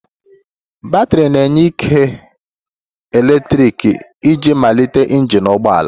Batrị na-enye ike eletrik iji malite injin ụgbọ ala